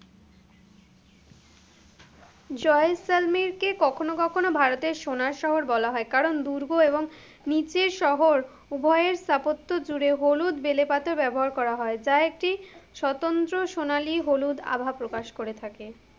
জয়সালমেরকে কখনো কখনো ভারতের সোনার শহর বলা হয়, কারণ দুর্গ এবং নিচের শহর, উভয়ের স্থাপত্য জুড়ে হলুদ বেলে পাতা ব্যবহার করা হয়, যা একটি সতন্ত্র সোনালী হলুদ আভা প্রকাশ করে থাকে।